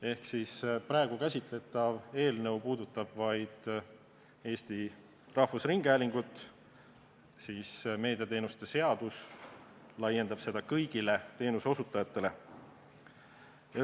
Ehk kui praegu käsitletav eelnõu puudutab vaid Eesti Rahvusringhäälingut, siis meediateenuste seadus laieneb kõigile teenuseosutajale.